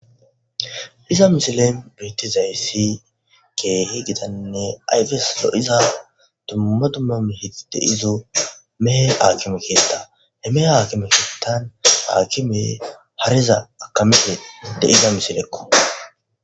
iza misile beettizayssi keehi gidanne ayfes lo7iza tumma tumma mihi deizu mehe aakime keetta he mehe aakime kiettan haakime hariza akamehe deiza misilekko